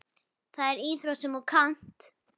Það er íþrótt sem þú kannt.